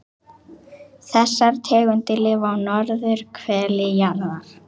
Þessar tegundir lifa á norðurhveli jarðar.